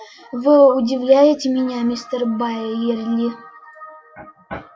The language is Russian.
вы удивляете меня мистер байерли